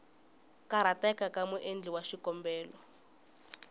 karhateka ka muendli wa xikombelo